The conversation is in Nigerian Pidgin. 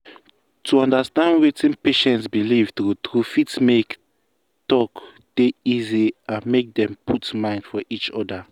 to understand wetin patient believe true true fit make talk dey easy and make dem put mind for each other.